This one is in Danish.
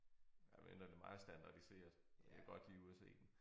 Ja medmindre det meget standardiseret jeg vil godt lige ud og se den